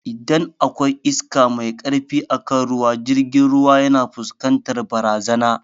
Idan akwai iska mai karfi akan ruwa jirgin ruwa yana fuskantar barazana